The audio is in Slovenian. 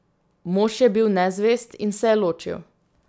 Mož je bil nezvest in se je ločil.